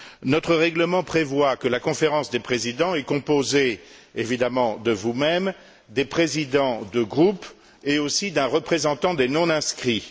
Notre règlement prévoit que la Conférence des présidents est composée évidemment de vous même, des présidents de groupe et aussi d'un représentant des non inscrits.